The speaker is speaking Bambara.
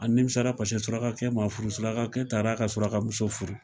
A nimisara paseke surakakɛ ma furu surakakɛ taara a ka suraka muso furu